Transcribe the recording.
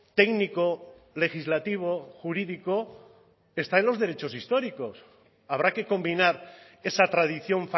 técnico legislativo jurídico está en los derechos históricos habrá que combinar esa tradición